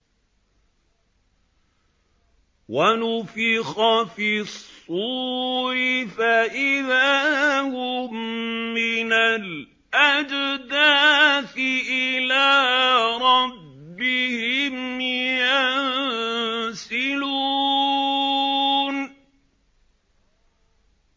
وَنُفِخَ فِي الصُّورِ فَإِذَا هُم مِّنَ الْأَجْدَاثِ إِلَىٰ رَبِّهِمْ يَنسِلُونَ